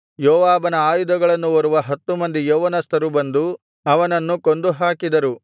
ಯೋವಾಬನ ಆಯುಧಗಳನ್ನು ಹೊರುವ ಹತ್ತು ಮಂದಿ ಯೌವನಸ್ಥರು ಬಂದು ಅವನನ್ನು ಕೊಂದು ಹಾಕಿದರು